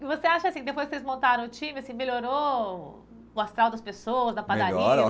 E você acha assim, depois que vocês montaram o time, assim melhorou o astral das pessoas, da padaria